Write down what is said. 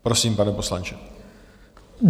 Prosím, pane poslanče.